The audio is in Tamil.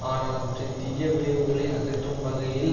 ஆனால் அவற்றின் தீய விளைவுகளை அகற்றும் வகையில்